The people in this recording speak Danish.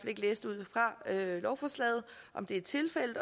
ikke læse ud fra lovforslaget om det er tilfældet